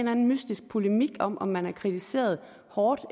anden mystisk polemik om om man har kritiseret hårdt